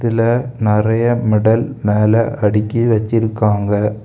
இதுல நெறய மெடல் மேல அடுக்கி வெச்சிருக்காங்க.